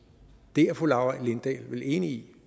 det er fru laura lindahl vel enig i